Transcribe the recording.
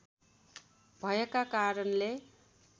भएका कारणले